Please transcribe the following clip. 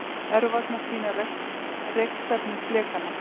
Örvarnar sýna rekstefnu flekanna.